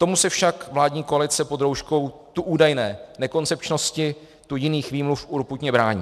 Tomu se však vládní koalice pod rouškou tu údajné nekoncepčnosti, tu jiných výmluv, urputně brání.